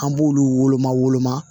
An b'olu woloma woloma